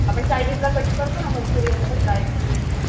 आपण चायनीजला कट करतोना मंच्युरिअनला बग ड्राय मंच्युरिअनला